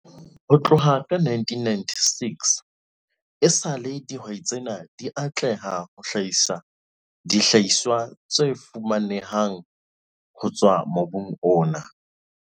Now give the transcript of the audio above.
Ho tloha ka 1996 esale dihwai tsena di atleha ho hlahisa dihlahiswa tse fapaneng ho tswa mobung ona.